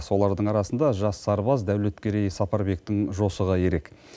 солардың арасында жас сарбаз дәулеткерей сапарбектің жосығы ерек